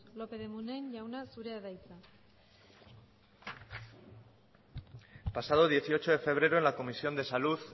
lópez de munai jauna zurea da hitza el pasado dieciocho de febrero en la comisión de salud